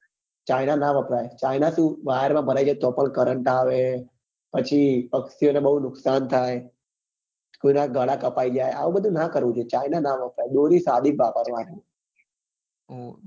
બ China નાં વપરાય China શું વાયર માં ભરાઈ જાય તો બી કરંટઆવે પછી પક્ષીઓ ને બઉ નુકસાન થાય કોઈ નાં ગાળા કાપી જાય આવું બધું નાં કરવું જોઈએ China નાં વપરાય દોરી સાદી જ વપરાવા ની